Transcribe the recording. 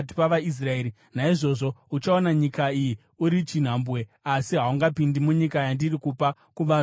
Naizvozvo, uchaona nyika iyi uri chinhambwe; asi haungapindi munyika yandiri kupa kuvanhu veIsraeri.”